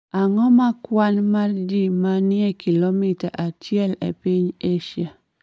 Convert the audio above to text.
Ang�o ma kwan ma ji ma ni e kilomita achiel e piny Asia?